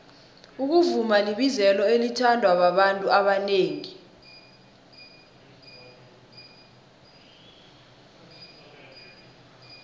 ukuvuma libizelo elithandwa babantu abanengi